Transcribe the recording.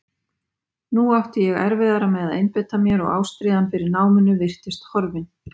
Nú átti ég erfiðara með að einbeita mér og ástríðan fyrir náminu virtist horfin.